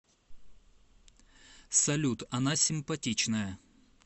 салют она симпатичная